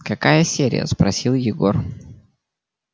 какая серия спросил егор